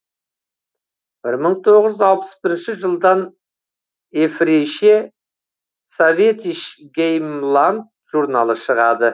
бір мың тоғыз жүз алпыс бірінші жылдан еврейше советиш геймланд журналы шығады